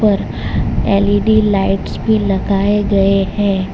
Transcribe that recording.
L E D lights भी लगाए गए हैं।